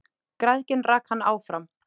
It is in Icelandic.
Græðgin rak hann áfram.